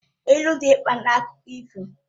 Ilu dị mkpa na akụkọ ifo